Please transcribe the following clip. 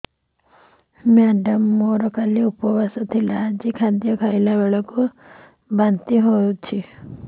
madam ମୋର କାଲି ଉପବାସ ଥିଲା ଆଜି ଖାଦ୍ୟ ଖାଇଲା ବେଳକୁ ବାନ୍ତି ହେଊଛି